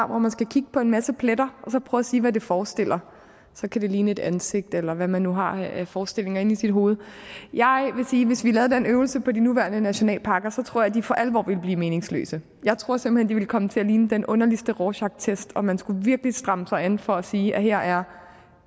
hvor man skal kigge på en masse pletter og så prøve at sige hvad det forestiller så kan det ligne et ansigt eller hvad man nu har af forestillinger inde i sit hoved jeg vil sige at hvis vi lavede den øvelse på de nuværende nationalparker så tror jeg at de for alvor ville blive meningsløse jeg tror simpelt de ville komme til at ligne den underligste rorschachtest og man skulle virkelig stramme sig an for at sige at her er